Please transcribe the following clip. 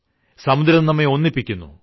സമുദ്രം നമ്മെ ഒന്നിപ്പിക്കുന്നു